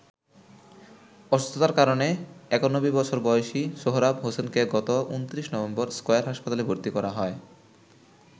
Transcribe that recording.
অসুস্থতার কারণে ৯১ বছর বয়সী সোহরাব হোসেনকে গত ২৯ নভেম্বর স্কয়ার হাসপাতালে ভর্তি করা হয়।